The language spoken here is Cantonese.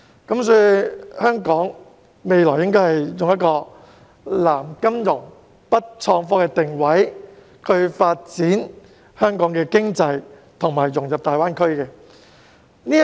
因此，香港日後應該以"南金融、北創科"作定位，發展香港的經濟和融入大灣區。